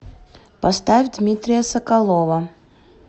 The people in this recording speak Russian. поставь дмитрия соколова